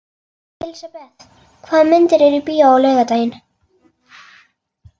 Elisabeth, hvaða myndir eru í bíó á laugardaginn?